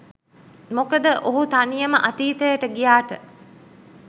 මොකද ඔහු තනියම අතීතයට ගියාට